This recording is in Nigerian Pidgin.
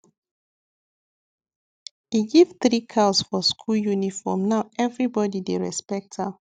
e give three cows for school uniform now everybody dey respect am